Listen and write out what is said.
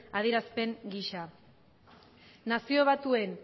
adierazpen gisa nazio batuen